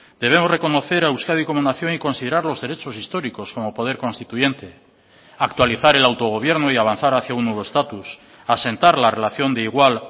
debemos reconocer a euskadi como nación y considerar los derechos históricos como poder constituyente actualizar el autogobierno y avanzar hacia un nuevo estatus asentar la relación de igual